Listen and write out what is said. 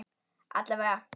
Alla vega.